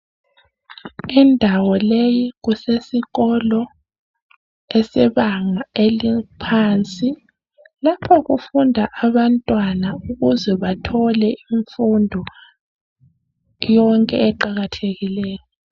Indawo leyi kusesikolo esebanga laphansi. Lapho kufunda abantwana ukuze bathole imfundo yonke eqakathekileyo.